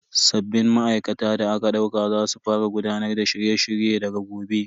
Sabbin ma'aikata da aka dauka za su fara gudanar da shirye shirye daga gobe.